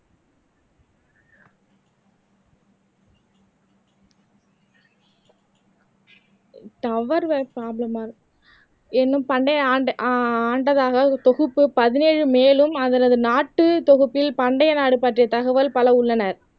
tower வேற problem இன்னும் பண்டைய ஆண் ஆண்டதாக ஒரு தொகுப்பு பதினேழு மேலும் அதனது நாட்டு தொகுப்பில் பண்டைய நாடு பற்றிய தகவல் பல உள்ளன